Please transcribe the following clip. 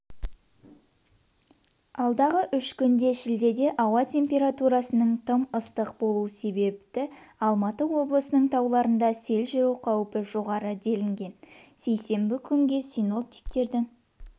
алдағы үш күнде шілдеде ауа температурасының тым ыстық болуы себепті алматы облысының тауларында сел жүру қаупі жоғары делінген сейсенбі күнгі синоптиктердің